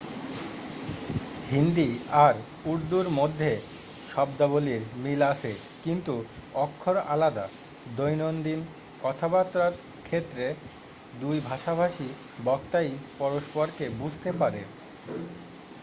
হিন্দি আর উর্দুর মধ্যে শব্দাবলীর মিল আছে কিন্তু অক্ষর আলাদা দৈনন্দিন কথাবার্তার ক্ষেত্রে দুই ভাষাভাষী বক্তাই পরস্পরকে বুঝতে পারে